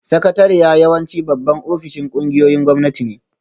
Sakatariya yawanci babban ofishin ƙungiyoyin gwamnati ne